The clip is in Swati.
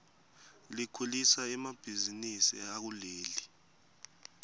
likhulisa emabihzinisi akuleli